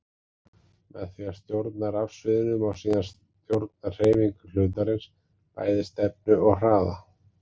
Með því að stjórna rafsviðinu má síðan stjórna hreyfingum hlutarins, bæði stefnu og hraða.